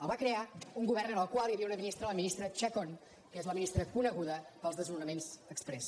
el va crear un govern en el qual hi havia una ministra la ministra chacón que és la ministra coneguda pels desnonaments exprés